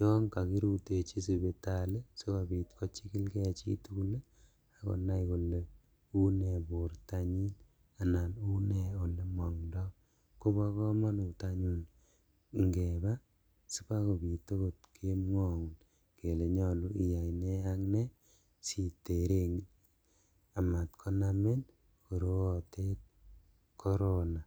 yon kokirutechi sipitali sikobit kochikilngee chitugul ii ak konai kole unee bortanyin anan unee elemengtoo kobokomonut anyun ingebaa sibakobit okot kemwoun kele nyolu iyai ne ak ne siteren amat korootet korona.